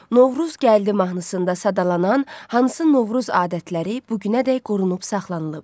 Novruz gəldi mahnısında sadalanan hansı Novruz adətləri bu günədək qorunub saxlanılıb?